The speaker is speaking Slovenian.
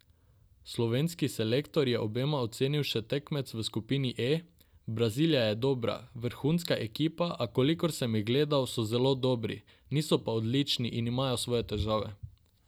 Slovenski selektor je obenem ocenil še tekmece v skupini E: "Brazilija je dobra, vrhunska ekipa, a kolikor sem jih gledal, so zelo dobri, niso pa odlični in imajo svoje težave.